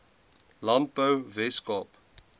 landbou wes kaap